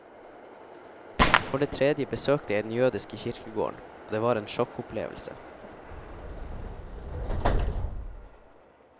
For det tredje besøkte jeg den jødiske kirkegården, og det var en sjokkopplevelse.